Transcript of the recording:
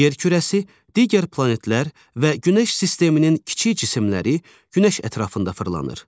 Yerkürəsi, digər planetlər və Günəş sisteminin kiçik cisimləri Günəş ətrafında fırlanır.